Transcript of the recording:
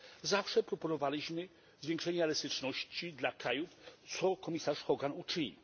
Zawsze proponowaliśmy zwiększenie elastyczności dla krajów, co komisarz Hogan uczynił.